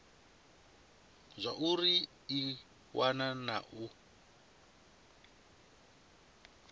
zwauri i wana na u